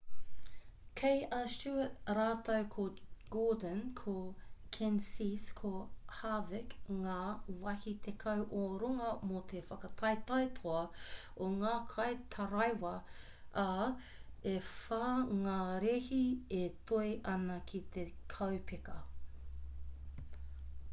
kei a stewart rātou ko gordon ko kenseth ko harvick ngā wāhi tekau o runga mō te whakataetae toa o ngā kaitaraiwa ā e whā ngā rēhi e toe ana ki te kaupeka